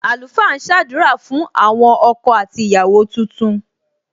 Àlùfáà ń sadura fún àwọn ọkọ àti ìyàwó tuntun.